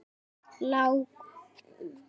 Lágkúra á lágkúru ofan.